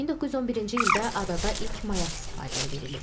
1911-ci ildə adada ilk mayak istifadəyə verilib.